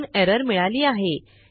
म्हणून एरर मिळाली आहे